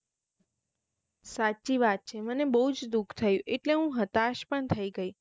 સાચી વાત છે મને બોવ જ દુઃખ થયું એટલે હું હતાશ પણ થઇ ગઈ